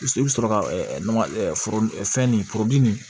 I bɛ sɔrɔ ka nɔgɔ foro fɛn nin foro di